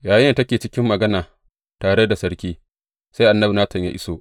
Yayinda take cikin magana tare da sarki, sai annabi Natan ya iso.